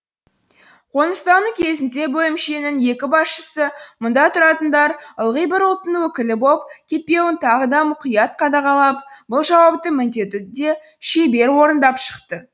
қоныстану кезінде бөлімшенің екі басшысы мұнда тұратындар ылғи бір ұлттың өкілі боп кетпеуін тағы да мұқият қадағалап бұл жауапты міндетті де шебер орындап шықты